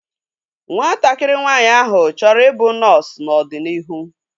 Nwatakịrị nwaanyị áhụ̀ chọrọ i bụ nọọsu n'ọdịnihu